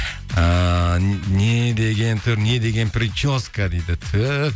ыыы не деген түр не деген прическа дейді түһ